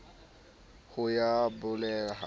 la ho ya beleha le